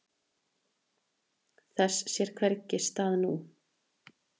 Þess sér hvergi stað nú.